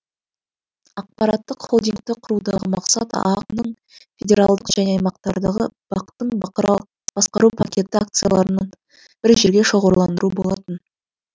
ақпараттық холдингті құрудағы мақсат аақ ның федералдық және аймақтардағы бақ тың басқару пакеті акцияларын бір жерге шоғырландыру болатын